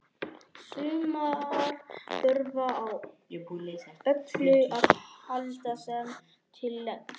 Sumar þurfa á öllu að halda sem til leggst.